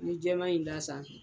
I bɛ jɛɛma in d'a sanfɛ.